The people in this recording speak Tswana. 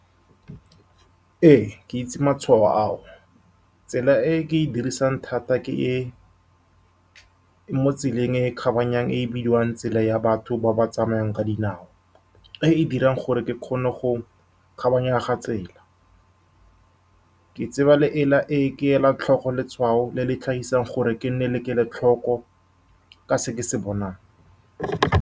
Ee, ke itse matshwao ao. Tsela e ke e dirisang thata ke e-e mo tseleng e e kgabaganyang, e e bidiwang tsela ya batho ba ba tsamayang ka dinao, e e dirang gore ke kgone go kgabaganya tsela ke tseba, le e la e ke e lang tlhoko, letshwao le le tlhagisang gore ke nne le kelotlhoko ka se ke se bonang.